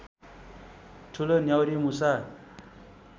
ठुलो न्याउरीमुसा